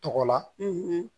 Tɔgɔla